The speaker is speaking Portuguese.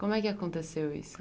Como é que aconteceu isso?